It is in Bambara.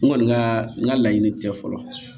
N kɔni ka n ka laɲini tɛ fɔlɔ